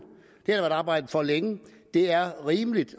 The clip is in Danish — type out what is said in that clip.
det har arbejdet for længe det er rimeligt